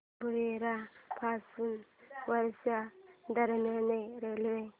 भुयार पासून वर्धा दरम्यान रेल्वे